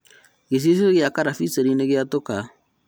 Gĩcicio gĩa karabiceni nĩgĩatũka